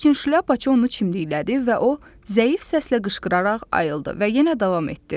Lakin şlyapaçı onu çimdiklədi və o zəif səslə qışqıraraq ayıldı və yenə davam etdi.